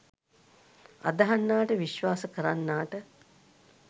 අදහන්නාට විශ්වාස කරන්නාට